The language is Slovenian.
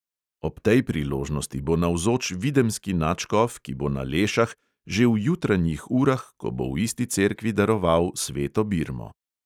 Ob tej priložnosti bo navzoč videmski nadškof, ki bo na lešah že v jutranjih urah, ko bo v isti cerkvi daroval sveto birmo.